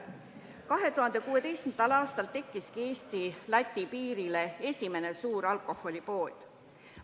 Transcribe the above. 2016. aastal tekkis Eesti-Läti piirile esimene suur alkoholipood.